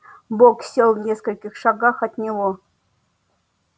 бог сел в нескольких шагах от него